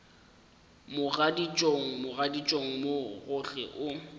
mogaditšong mogaditšong mo gohle o